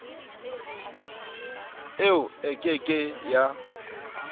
eo e ke ke ya